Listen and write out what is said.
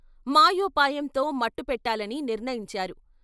మాయోపాయంతో మట్టుపెట్టాలని నిర్ణయించారు.